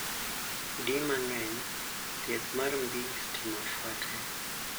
Di mang'eny, thieth mar mbii stima fuate